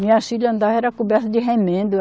Minhas filha andava era coberta de remendo.